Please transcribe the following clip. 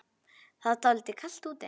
Það er dálítið kalt úti.